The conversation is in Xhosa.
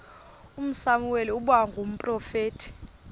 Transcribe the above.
usamuweli ukuba ngumprofeti